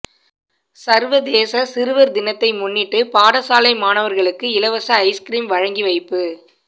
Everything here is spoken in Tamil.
சர்வதேச சிறுவர் தினத்தை முன்னிட்டு பாடசாலை மாணவர்களுக்கு இலவச ஐஸ்கிறீம் வழங்கி வைப்பு